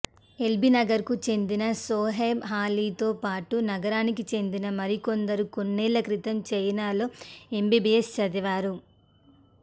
ఎల్బీనగర్కు చెందిన సోహెబ్ అలీతో పాటు నగరానికి చెందిన మరికొందరు కొన్నేళ్ల క్రితం చైనాలో ఎంబీబీఎస్ చదివారు